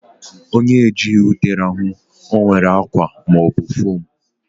Onye ejighị ute rahụ, o were akwa ma ọ bụ fom